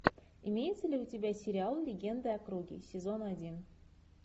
имеется ли у тебя сериал легенда о круге сезон один